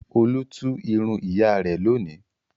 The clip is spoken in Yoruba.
Olú tú irun ìyá rẹ̀ lónìí.